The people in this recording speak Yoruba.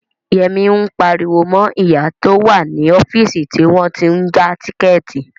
Yẹmí ń pariwo mọ ìyá tó wà ní ọ́fíìsì tí wọ́n tí ń ja tíkẹ̀ẹ̀tì